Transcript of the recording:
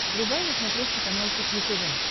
врубай на смотрешке канал кухня тв